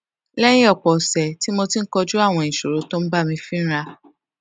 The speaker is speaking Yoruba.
léyìn òpò òsè tí mo ti ń kojú àwọn ìṣòro tó ń bá mi fínra